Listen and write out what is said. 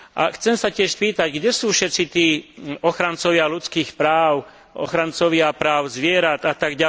A chcem sa tiež spýtať, kde sú všetci tí ochrancovia ľudských práv, ochrancovia práv zvierat atď.?